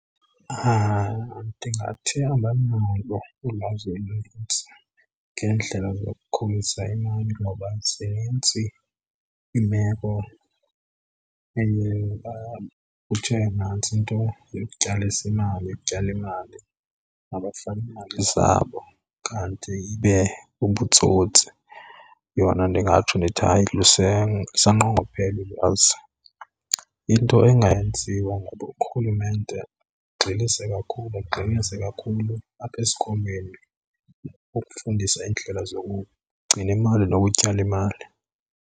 Ndingathi abanalo ulwazi olunintsi ngeendlela zokukhulisa imali ngoba zinintsi iimeko eye kuthiwe nantsi into yokutyalisa imali ukutyala imali mabafake iimali zabo kanti ibe bubutsotsi. Yona ndingatsho ndithi hayi lusanqongophele ulwazi. Into engenziwa ngulo rhulumente agxilise kakhulu, agxinisise kakhulu apha esikolweni ukufundisa iindlela zokugcina imali nokutyala imali.